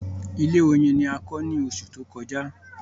Ilé oyin ni a kọ ní oṣù tó kọjá